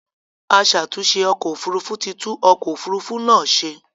Aṣàtunṣè ọkọ̀ òfurufú ti tún ọkọ̀ òfurufú náà ṣe.